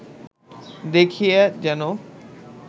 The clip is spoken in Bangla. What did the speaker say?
দেখিয়া যেন